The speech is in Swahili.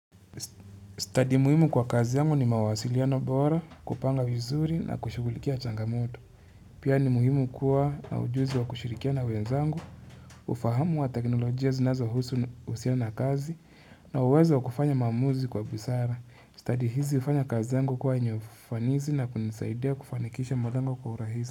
Stadi muhimu kwa kazi yangu ni mawasiliano bora kupanga vizuri na kushughulikia changamoto. Pia ni muhimu kuwa na ujuzi wa kushirikia na wenzangu, ufahamu wa teknolojia zinazo husu uhusiano na kazi na uwezo wa kufanya maamuzi kwa busara. Stadi hizi hufanya kazi zangu kuwa yenye ufanisi na kunisaidia kufanikisha malengo kwa urahisi.